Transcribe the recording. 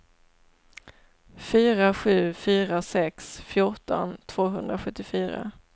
fyra sju fyra sex fjorton tvåhundrasjuttiofyra